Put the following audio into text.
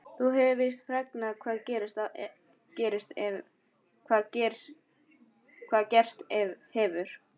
Þú hefur víst fregnað hvað gerst hefur?